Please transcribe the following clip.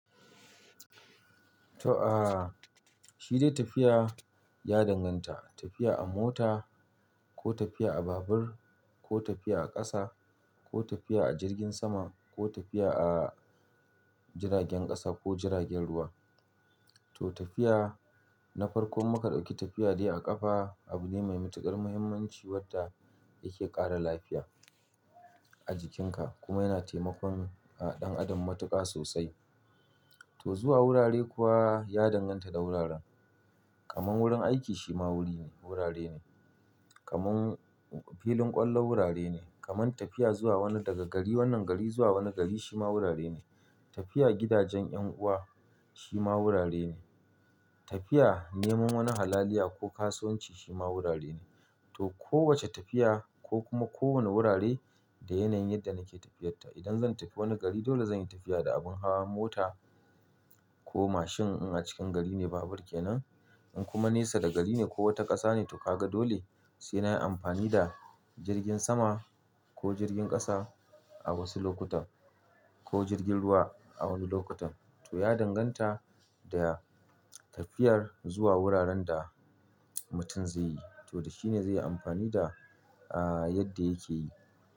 To aa, shi dai tafiya ya danganta, tafiya a mota ko tafiya a babur ko tafiya a ƙasa ko tafiya a jirgin sama ko tafiya a jiragen ƙasa ko jiragen ruwa. To tafiya na farkon mu kaɗauƙi tafiya dai a ƙafa abu ne mai matuƙar muhimmanci wadda yake ƙara lafiya a jikinka kuma yana taimakon ɗan adam matuƙa sosai. To zuwa wurare kuwa ya danganta da wuraren, kaman wurin aiki shi ma wuri ne, wurare ne, kaman filin ƙwallo wurare ne, kaman tafiya zuwa wani daga gari wannan gari zuwa wani gari shi ma wurare ne. Tafiya gidajen ƴan'uwa shi ma wurare ne. Tafiya neman wani halaliya ko kasuwanci shi ma wurare ne. To kowace tafiya ko kuma kowane wurare da yanayin yadda nake tafiyarta. Idan zan tafi wani gari dole zan yi tafiya da abin hawa mota ko mashin in a cikin gari ne babur ke nan, in kuma nesa daga gari ne ko wata ƙasa ne to ka ga dole sai na yi amfani da jirgin sama ko jirgin ƙasa a wasu lokutan ko jirgin ruwa a wani lokutan. To ya danganta da tafiyar zuwa wuraren da mutum zai yi, to dashi ne zai yi amfani da yadda yake yi.